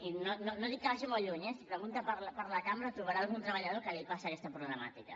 i no dic que vagi molt lluny eh si pregunta per la cambra trobarà algun treballador que li passa aquesta problemàtica